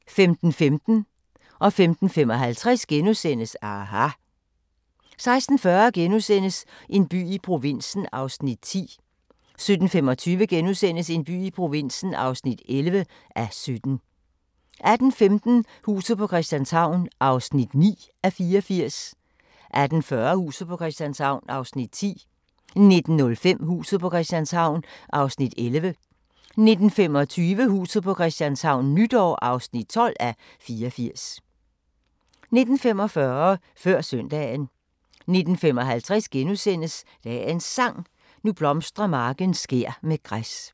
15:15: aHA! * 15:55: aHA! * 16:40: En by i provinsen (10:17)* 17:25: En by i provinsen (11:17)* 18:15: Huset på Christianshavn (9:84) 18:40: Huset på Christianshavn (10:84) 19:05: Huset på Christianshavn (11:84) 19:25: Huset på Christianshavn - nytår (12:84) 19:45: Før Søndagen 19:55: Dagens Sang: Nu blomstrer marken skær med græs *